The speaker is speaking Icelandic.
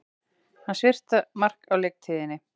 Hans fyrsta mark á leiktíðinni